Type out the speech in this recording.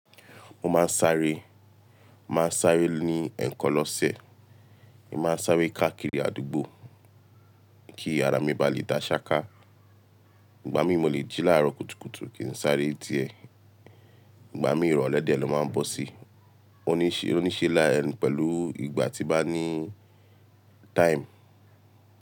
Mo máa ń sáré, màá sáré ní ẹ̀ẹ̀kan lọ́sẹ̀, èmi máa ń sáré káàkiri àdúgbò kí ara mi bá lè dá ṣáká. Ìgbà mí mo lè jí láàárọ̀ kùtùkùtù kì í sáré diẹ̀, ìgbà mí ìrọ̀lẹ́ díẹ̀ lọ máa ń bọ̀ sí. Oníṣẹ́ la ń pẹ̀lú ìgbà tí nbá ní time.